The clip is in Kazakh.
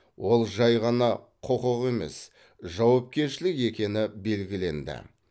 ол жай ғана құқық емес жауапкершілік екені білгіленді